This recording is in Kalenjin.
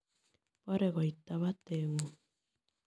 Poore koyta bateeng'ung.